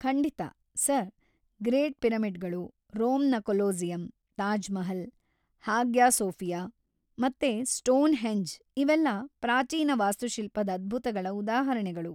ಖಂಡಿತ, sir! Great ಪಿರಮಿಡ್‌ಗಳು, ರೋಮ್‌ನ Colosseum, Taj Mahal, Hagia Sophia ಮತ್ತೆ ಸ್ಟೋನ್‌ಹೆಂಜ್ ಇವೆಲ್ಲ ಪ್ರಾಚೀನ ವಾಸ್ತುಶಿಲ್ಪದ್ ಅದ್ಭುತಗಳ ಉದಾಹರಣೆಗಳು.